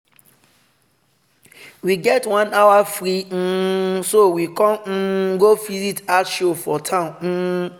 we get one hour free um so we con um go visit art show for town. um